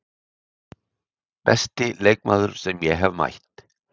Besti leikmaður sem ég hef mætt?